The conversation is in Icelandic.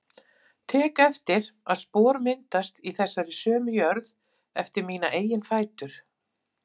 Tek eftir að spor myndast í þessari sömu jörð eftir mína eigin fætur.